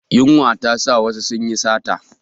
Yunwa ta sa wasu su yi sata.